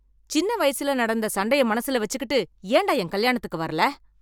சின்ன வயசுல நடந்த சண்டைய மனசுல வச்சுக்கிட்டு ஏண்டா என் கல்யாணத்துக்கு வரல